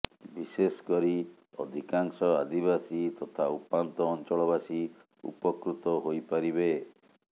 ବିଶେଷକରି ଅଧିକାଂଶ ଆଦିବାସୀ ତଥା ଉପାନ୍ତ ଅଂଚଳବାସୀ ଉପକୃତ ହୋଇ ପାରିବେ